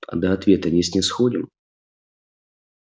а до ответа не снисходим